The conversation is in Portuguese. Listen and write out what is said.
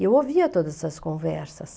E eu ouvia todas essas conversas.